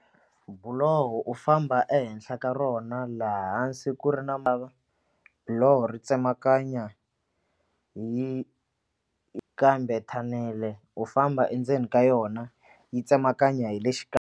Buloho u famba ehenhla ka rona laha hansi ku ri na buloho ri tsemakanya yi kambe thanele u famba endzeni ka yona yi tsemakanya hi le .